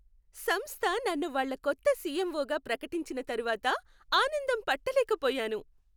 సంస్థ నన్ను వాళ్ళ కొత్త సిఎంఓగా ప్రకటించిన తర్వాత ఆనందం పట్టలేకపోయాను.